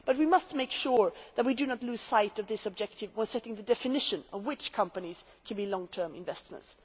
But we must make sure that we do not lose sight of this objective while setting the definition of which companies can be long term investors.